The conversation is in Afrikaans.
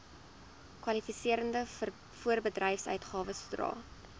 kwalifiserende voorbedryfsuitgawes sodra